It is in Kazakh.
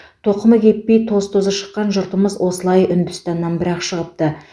тоқымы кеппей тоз тозы шыққан жұртымыз осылай үндістаннан бір ақ шығыпты